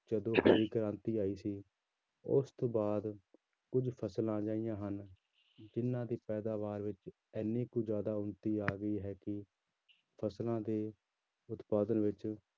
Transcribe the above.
ਜਦੋਂ ਹਰੀ ਕ੍ਰਾਂਤੀ ਆਈ ਸੀ ਉਸ ਤੋਂ ਬਾਅਦ ਕੁੱਝ ਫ਼ਸਲਾਂ ਅਜਿਹੀਆਂ ਹਨ ਜਿੰਨਾਂ ਦੀ ਪੈਦਾਵਾਰ ਵਿੱਚ ਇੰਨੀ ਕੁ ਜ਼ਿਆਦਾ ਉਨਤੀ ਆ ਗਈ ਹੈ ਕਿ ਫ਼ਸਲਾਂ ਦੇ ਉਤਪਾਦਨ ਵਿੱਚ